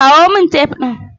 Kawo min tef ɗin.